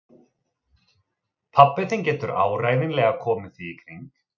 Pabbi þinn getur áreiðanlega komið því í kring